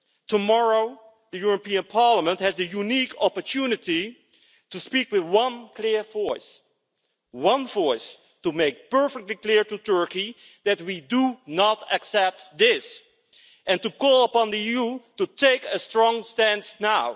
Tomorrow, the European Parliament has the unique opportunity to speak with one clear voice, one voice to make perfectly clear to Turkey that we do not accept this, and to call upon the EU to take a strong stance now.